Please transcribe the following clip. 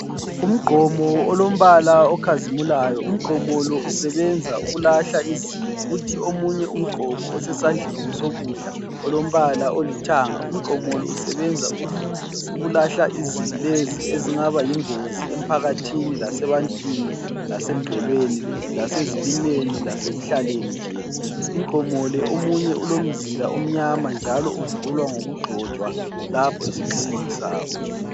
Umgqomo olombala okhazimulayo. Umgqomo lo usebenza ukulahla izibi. Kuthi omunye umgqomo osesandleni sokudla olombala olithanga, Umgqomo lo usebenza ukulahla izibi lezi ezingaba yingozi emphakathini lasebantwini, lasemvelweni, lasezilimeni, lasekuhlaleni nje. Umgqomo le omunye ulomzila omnyama njalo uvulwa ngokugxotshwa lapho esigxingini sawo.